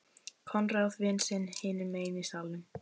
Konráð vin sinn hinum megin í salnum.